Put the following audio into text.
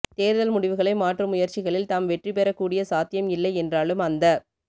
தேர்தல் முடிவுகளை மாற்றும் முயற்சிகளில் தாம் வெற்றி பெறக் கூடிய சாத்தியம் இல்லை என்றாலும் அந்த